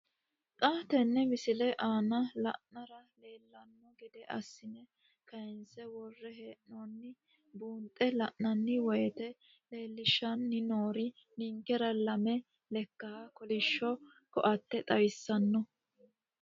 Xa tenne missile aana la'nara leellanno gede assine kayiinse worre hee'noonniri buunxe la'nanni woyiite leellishshanni noori ninkera lame lekkaha kolishsho koatte xawissanno.